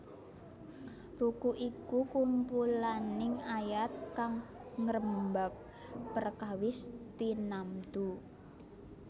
Ruku iku kumpulaning ayat kang ngrembag perkawis tinamtu